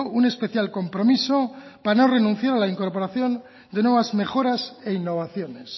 un especial compromiso para no renunciar a la incorporación de nuevas mejoras e innovaciones